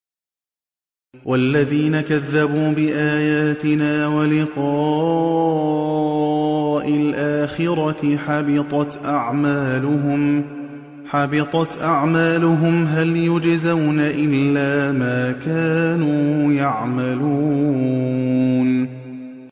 وَالَّذِينَ كَذَّبُوا بِآيَاتِنَا وَلِقَاءِ الْآخِرَةِ حَبِطَتْ أَعْمَالُهُمْ ۚ هَلْ يُجْزَوْنَ إِلَّا مَا كَانُوا يَعْمَلُونَ